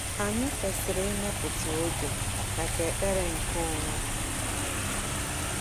Anyị kwesịrị ịmepụta oge maka ekpere nke onwe.